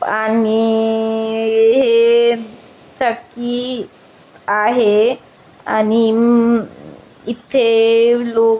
आणि हे चक्की आहे अणि इथे लोक --